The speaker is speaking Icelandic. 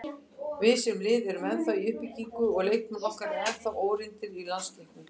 Við, sem lið, erum ennþá í uppbyggingu og leikmenn okkar eru ennþá óreyndir í landsleikjum.